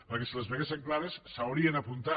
perquè si les veiessin clares s’hi haurien apuntat